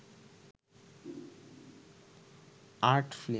art film